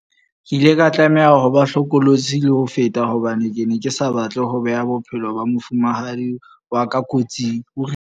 Ke ile ka tlameha ho ba hlokolosi le ho feta hobane ke ne ke sa batle ho beha bophelo ba mofumahadi wa ka kotsing, o rialo.